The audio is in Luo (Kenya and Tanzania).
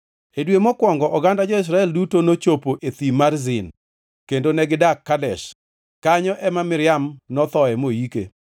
E dwe mokwongo oganda jo-Israel duto nochopo e Thim mar Zin, kendo negidak Kadesh. Kanyo ema Miriam nothoe moike.